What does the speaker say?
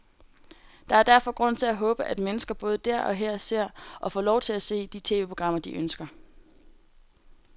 Der er derfor grund til at håbe, at mennesker både der og her ser, og får lov til at se, de tv-programmer, de ønsker.